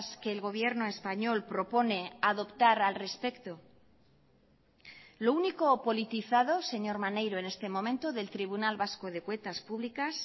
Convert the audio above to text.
que el gobierno español propone adoptar al respecto lo único politizado señor maneiro en este momento del tribunal vasco de cuentas públicas